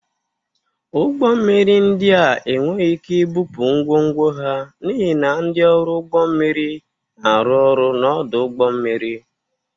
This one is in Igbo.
Ụgbọ mmiri ndị a enweghị ike ibupụ ngwongwo ha n'ihi na ndị ọrụ ụgbọ mmiri na-arụ ọrụ n'ọdụ ụgbọ mmiri.